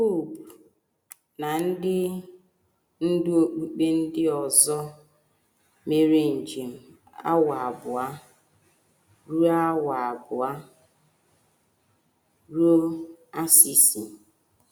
Popu na ndị ndú okpukpe ndị ọzọ mere njem awa abụọ ruo awa abụọ ruo Assisi.